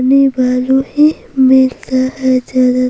अपने बाजू में ही मिलता है ज़्यादा--